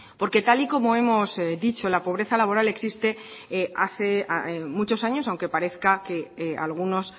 porque tal y como hemos dicho la pobreza laboral existe hace muchos años aunque parezca que algunos